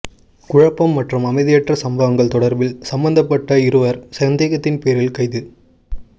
குழப்பம் மற்றும் அமைதியற்ற சம்பவங்கள் தொடர்பில் சம்பந்தப்பட்ட இருவர் சந்தேகத்தின் பேரில் கைது